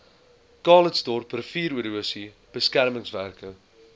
calitzdorp riviererosie beskermingswerke